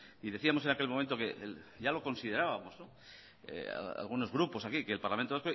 y decíamos en aquel momento que ya lo considerábamos algunos grupos aquí que el parlamento